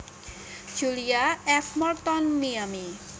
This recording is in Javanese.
Julia F Morton Miami